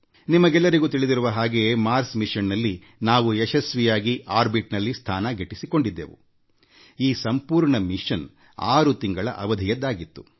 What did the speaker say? ನಿಮಗೆಲ್ಲರಿಗೂ ತಿಳಿದಿರುವ ಹಾಗೆ ಮಂಗಳಯಾನದಲ್ಲಿ ನಾವು ಯಶಸ್ವಿಯಾಗಿ ಕಕ್ಷೆ ತಲುಪಿದ್ದೆವು ಈ ಸಂಪೂರ್ಣ ಅಭಿಯಾನ ಆರು ತಿಂಗಳ ಅವಧಿಯದ್ದಾಗಿತ್ತು